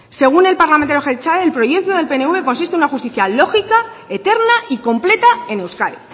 según el parlamentario jeltzale el proyecto del pnv consiste en una justicia lógica eterna y completa en euskadi